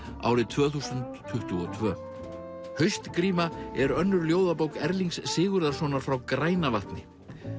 árið tvö þúsund tuttugu og tvö er önnur ljóðabók Erlings Sigurðarsonar frá Grænavatni